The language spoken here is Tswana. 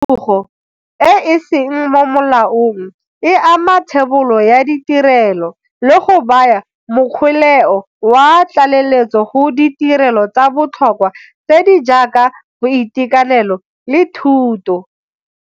Khudugo e e seng mo molaong e ama thebolo ya ditirelo le go baya mokgweleo wa tlaleletso go ditirelo tsa botlhokwa tse di jaaka boitekanelo le thuto.